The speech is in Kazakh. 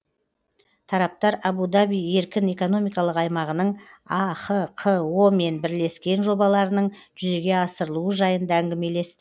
тараптар абу даби еркін экономикалық аймағының ахқо мен бірлескен жобаларының жүзеге асырылуы жайында әңгімелесті